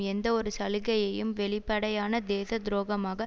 எந்தவொரு சலுகையையும் வெளிப்படையான தேச துரோகமாக